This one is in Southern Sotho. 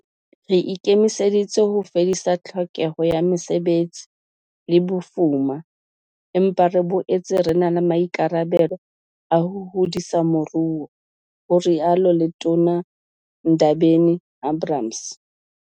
"Re ikemiseditse ho fedisa tlhokeho ya mesebetsi le bofuma, empa re boetse re na le maikarabelo a ho hodisa moruo," ho rialo Letona Ndabeni-Abrahams.